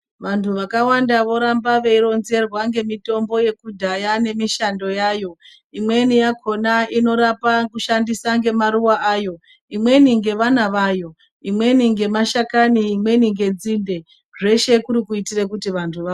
Vanthu vakawanda voramba veironzerwa ngemitombo yekudhaya nemishando yayo, imweni yakona inorapa kushandisa ngemaruwa ayo, imweni ngevana vayo ,imweni ngemashakani ,imweni ngenzinde zveshe kuri kuitire kuti vanthu vapone.